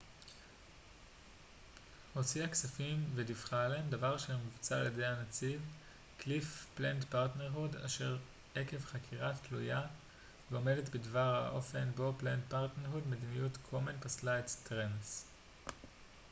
מדיניות קומן פסלה את planned parenthood עקב חקירה תלויה ועומדת בדבר האופן בו planned parenthood הוציאה כספים וודיווחה עליהם דבר אשר מבוצע על ידי הנציג קליף סטרנס